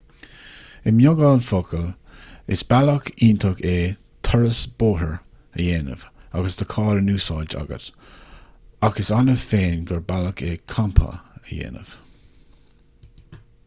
i mbeagán focal is bealach iontach é turas bóthair a dhéanamh agus do charr in úsáid agat ach is annamh féin gur bealach é campa a dhéanamh